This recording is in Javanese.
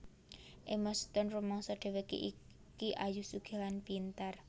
Emma Stone rumangsa dhewekke iki ayu sugih lan pinter